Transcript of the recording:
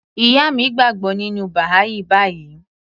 Ìyá mi gbàgbọ́ nínú Baha'i báyìí